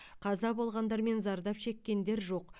қаза болғандар мен зардап шеккендер жоқ